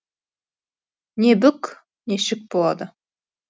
не бүк не шік болады